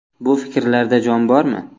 Bu fikrlarda jon bormi?